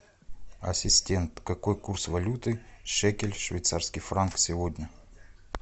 ассистент какой курс валюты шекель швейцарский франк сегодня